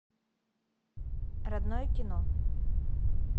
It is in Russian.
родное кино